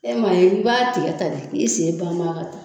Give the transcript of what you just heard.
Ɛ ma ye i b'a tigɛ tan de k'i sen ban ban a ka tan